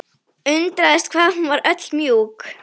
Undraðist hvað hún var öll mjúk.